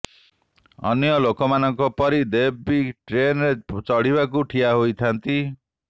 ଅନ୍ୟ ଲୋକମାନଙ୍କ ପରି ଦେବ୍ ବି ଟ୍ରେନରେ ଚଢିବାକୁ ଠିଆ ହୋଇଥାନ୍ତି